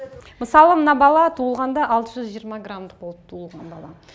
мысалы мына бала туылғанда алты жүз жиырма грамдық болып туылған бала